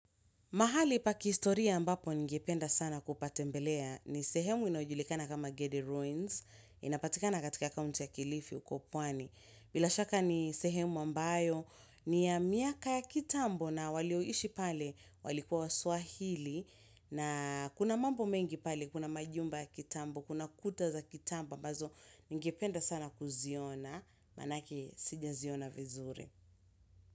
Mahali pa kihistoria ambapo ningependa sana kupatembelea ni sehemu inayojulikana kama Gedi Ruins, inapatikana katika kaunti ya kilifi huko pwani. Bila shaka ni sehemu ambayo ni ya miaka ya kitambo na walioishi pale walikuwa waswahili na kuna mambo mengi pale kuna majumba ya kitambo, kuna kuta za kitambo ambazo ningependa sana kuziona manake sija ziona vizuri.